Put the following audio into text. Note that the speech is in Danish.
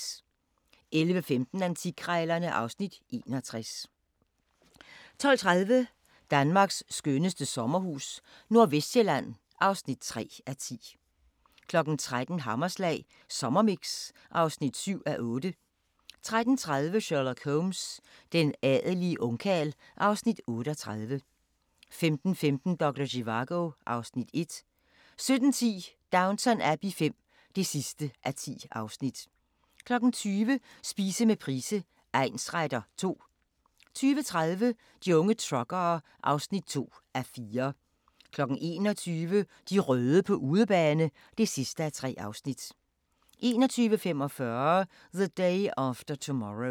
11:15: Antikkrejlerne (Afs. 61) 12:30: Danmarks skønneste sommerhus - Nordvestsjælland (3:10) 13:00: Hammerslag Sommermix (7:8) 13:30: Sherlock Holmes: Den adelige ungkarl (Afs. 38) 15:15: Doktor Zivago (Afs. 1) 17:10: Downton Abbey V (10:10) 20:00: Spise med Price egnsretter II 20:30: De unge truckere (2:4) 21:00: De røde på udebane (3:3) 21:45: The Day After Tomorrow